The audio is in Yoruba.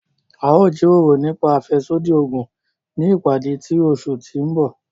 A o jiroro nipa afẹsodi oogun ni ipade ti oṣu ti n bọ.